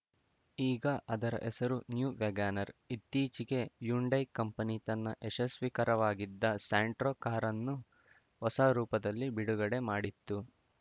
ಈಗ ಅದರ ಹೆಸರು ನ್ಯೂ ವ್ಯಾಗನರ್‌ ಇತ್ತೀಚೆಗೆ ಹ್ಯುಂಡೈ ಕಂಪನಿ ತನ್ನ ಯಶಸ್ವೀ ಕರವಾಗಿದ್ದ ಸ್ಯಾಂಟ್ರೋ ಕಾರನ್ನು ಹೊಸ ರೂಪದಲ್ಲಿ ಬಿಡುಗಡೆ ಮಾಡಿತ್ತು